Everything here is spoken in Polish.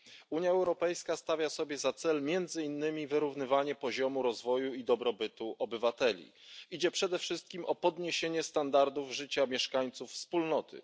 Unia Europejska stawia sobie za cel między innymi wyrównywanie poziomu rozwoju i dobrobytu obywateli. Chodzi przede wszystkim o podniesienie standardów życia mieszkańców Wspólnoty.